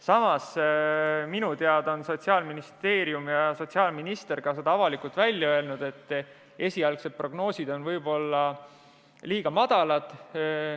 Samas, minu teada on Sotsiaalministeerium ja sotsiaalminister avalikult välja öelnud ka selle, et esialgsetes prognoosides võivad summad olla liiga väikesed.